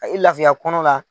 A ye lafiya kɔnɔna la